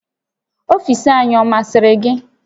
Ọfiisi anyị ọ masịrị gị?